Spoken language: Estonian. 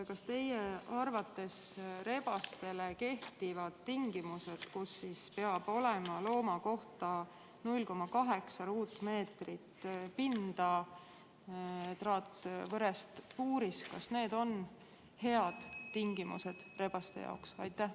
Kas teie arvates rebastele kehtivad tingimused, et looma kohta peab olema 0,8 ruutmeetrit pinda traatvõrest puuris, on head tingimused nende jaoks?